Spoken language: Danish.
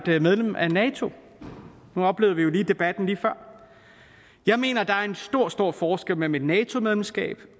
være medlem af nato nu oplevede vi jo debatten lige før jeg mener at der er en stor stor forskel mellem et nato medlemskab